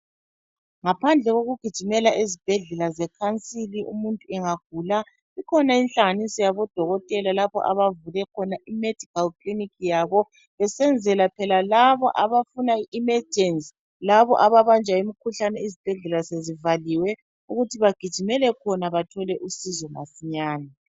Ngaphandle kokugijimela ezibhedlela zekhansili umuntu engagula, kukhona inhlanganiso yabo dokotela lapho abavule khona imedical clinic yabo besenzela phela labo abafuna i emergency laba ababanjwa imkhuhlane izibhedlela sezivaliwe ukuthi bagijimele khona bathole usizo masinyane.